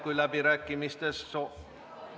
Kui läbirääkimisteks soovi ei ...